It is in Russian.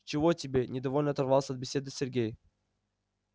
чего тебе недовольно оторвался от беседы сергей